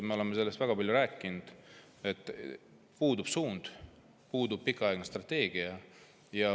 Me oleme väga palju rääkinud sellest, et puudub suund, puudub pikaajaline strateegia.